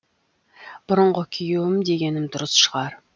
бұрынғы күйеуім дегенім дұрыс шығар